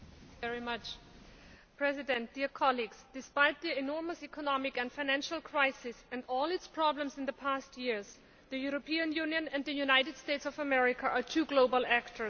Mr President, despite the enormous economic and financial crisis and all its problems in the past years, the European Union and the United States of America are two global actors.